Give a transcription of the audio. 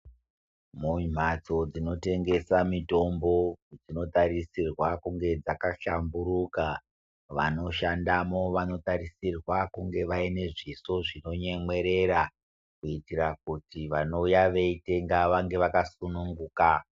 Mumhatso dzinotengesa mitombo dzinotarisirwa kunge dzakahlamburuka vanoshandamo vanotarisirwa kunge vane zviso zvinonuemwerera kuitira kuti vanouya veitenga vange vakasununguka.